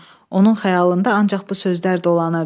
Onun xəyalında ancaq bu sözlər dolanırdı.